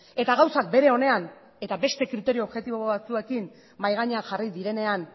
eta gauzak bere onean eta beste kriterio objektibo batzuekin mahai gainean jarri direnean